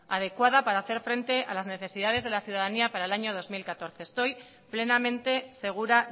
adecuada para hacer frente a las necesidades de la ciudadanía para el año dos mil catorce estoy plenamente segura